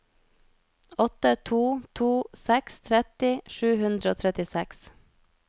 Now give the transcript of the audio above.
åtte to to seks tretti sju hundre og trettiseks